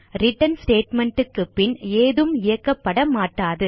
return statement க்கு பின் ஏதும் இயக்கப்படமாட்டாது